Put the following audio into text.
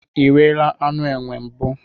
Iriela anụ enwe mbụ?